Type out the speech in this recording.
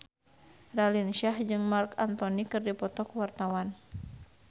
Raline Shah jeung Marc Anthony keur dipoto ku wartawan